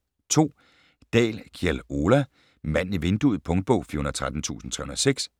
2. Dahl, Kjell Ola: Manden i vinduet Punktbog 413306